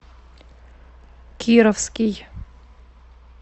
кировский